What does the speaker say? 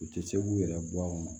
U tɛ se k'u yɛrɛ bɔ o kɔnɔ